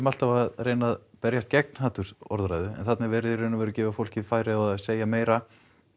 alltaf að reyna að berjast gegn hatursorðræðu en þarna er verið í raun að gefa fólki færi á að segja meira